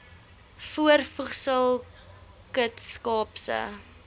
voorvoegsel kst kaapse